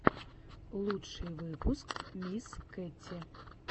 лучший выпуск мисс кэти